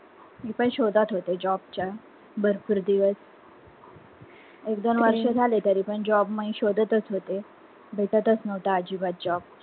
मी पण शोधत होते job चा भरपूर दिवस एक दोन वर्ष झाली तरीपण job मी शोदतच होते भेटतच नव्हता अजिबात job